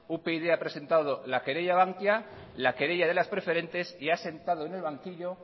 upyd ha presentado la querella a bankia la querella de las preferentes y ha sentado en el banquillo